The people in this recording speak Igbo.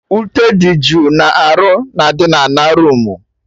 Ute dị jụụ na-arụ na adị na ana roomu